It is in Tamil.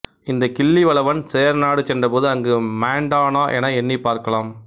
இந்தக் கிள்ளிவளவன் சேரநாடு சென்றபோது அங்கு மாண்டானா என எண்ணிப் பார்க்கலாம்